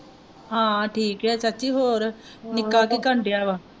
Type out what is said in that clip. ਹਾਂ ਠੀਕ ਐ ਚਾਚੀ ਹੋਰ ਨਿੱਕਾ ਕੀ ਕਰਨ ਦਿਆ ਵਾ?